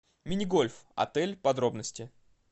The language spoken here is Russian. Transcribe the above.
мини гольф отель подробности